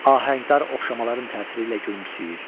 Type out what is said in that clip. Ahəngdar oxşamaların təsiri ilə gülümsəyir.